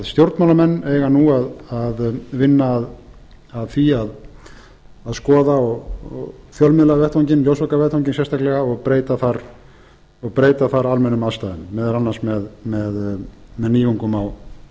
stjórnmálamenn eiga nú að vinna að því að skoða fjölmiðlavettvanginn ljósvakavettvanginn sérstaklega og breyta þar almennum aðstæðum meðal annars með nýjungum með